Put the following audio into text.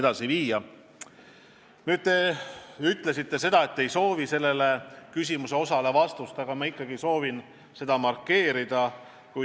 Te küll ütlesite, et ei soovi oma esimesele küsimusele vastust, aga ma ikkagi soovin seda markeerida.